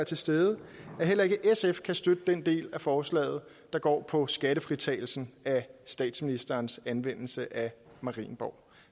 til stede at heller ikke sf kan støtte den del af forslaget der går på skattefritagelsen af statsministerens anvendelse af marienborg